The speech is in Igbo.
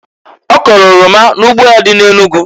Ọ kọlụ oroma n'ugbo ya dị na Enugu.